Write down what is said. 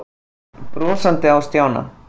Pabbi leit brosandi á Stjána.